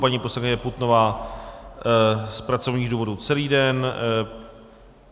Paní poslankyně Putnová z pracovních důvodů celý den.